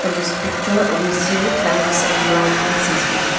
This picture we see fans and lightings as well.